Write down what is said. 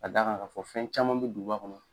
ka d'a kan k'a fɔ fɛn caman bɛ duguba kɔnɔ.